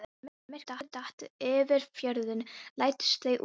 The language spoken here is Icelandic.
Og þegar myrkrið datt yfir fjörðinn læddust þau út.